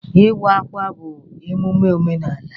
Ịwa ákwà bụ emume omenaala